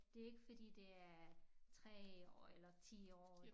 Det ikke fordi det er 3 år eller 10 år